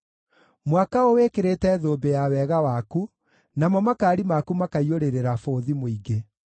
Mwaka ũwĩkĩrĩte thũmbĩ ya wega waku, namo makaari maku makaiyũrĩrĩra bũthi mũingĩ.